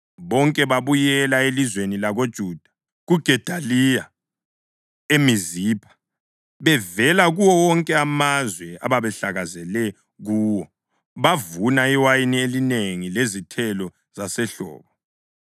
bonke babuyela elizweni lakoJuda, kuGedaliya eMizipha, bevela kuwo wonke amazwe ababehlakazekele kuwo. Bavuna iwayini elinengi lezithelo zasehlobo.